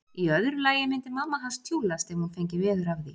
Í öðru lagi myndi mamma hans tjúllast ef hún fengi veður af því.